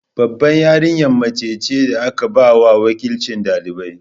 Babbar yarinya mace ce da aka ba wa wakilcin ɗalibai.